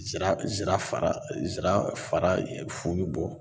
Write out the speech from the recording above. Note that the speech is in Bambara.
Zira zira fara zira fara fu bi bɔ